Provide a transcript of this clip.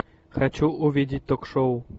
хочу увидеть ток шоу